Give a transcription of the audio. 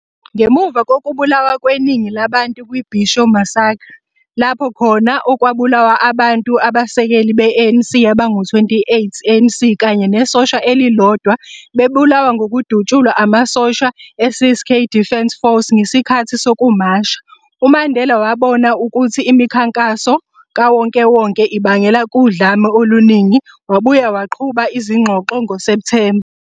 Ngemuva kokubulawa kweningi labantu kwi-Bisho massacre, lapho khona okwabulawa abantu abasekeli be-ANC abangu 28 ANC kanye nesosha elilodwa, bebulawa ngokudutshulwa amasosha e-Ciskei Defence Force ngesikhathi sokumasha, uMandela wabona ukuthi imikhankaso kawonkewonke ibangela kudlame oluningi, wabuya waqhuba izingxoxo ngoSeptemba.